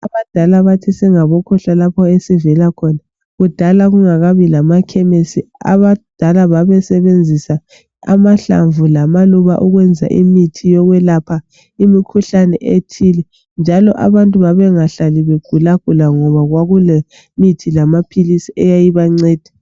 Abadala bathi singabokhohlwa lapho esivela khona kudala kungakabi lamakhemisi abadala babesebenzisa amahlamvu lamaluba ukwenza imithi yokwelapha imikhuhlane ethile njalo abantu babengahlali begulagula ngoba kwakulemithi lamaphilizi eyayibanceda.